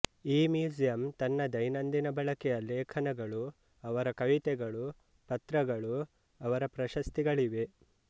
ಈ ಮ್ಯೂಸಿಯಂ ತನ್ನ ದೈನಂದಿನ ಬಳಕೆಯ ಲೇಖನಗಳು ಅವರ ಕವಿತೆಗಳು ಪತ್ರಗಳು ಅವರ ಪ್ರಶಸ್ತಿಗಳಿವೆ